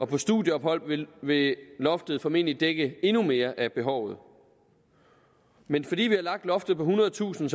på studieophold vil vil loftet formentlig dække endnu mere af behovet men fordi vi har lagt loftet på ethundredetusind